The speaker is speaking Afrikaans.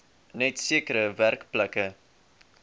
net sekere werkplekke